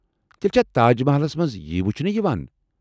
تیٚلہ چھا تاج محلس منٛز یی وٗچھنہٕ یوان؟